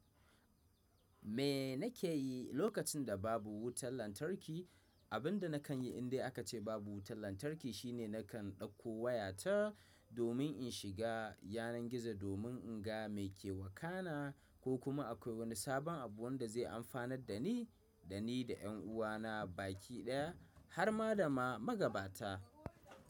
Me nake yi lokacin da babu wutar lantarki, abin da na kan yi in dai aka ce babu wutar lantarki shine na kan ɗauko wayata domin in shiga yanar gizo domin in ga me ke wakana ko kuma akwai wani sabon abu wanda zai amfanar da ni, da ni da 'yan uwana baki ɗaya har ma da ma magabata.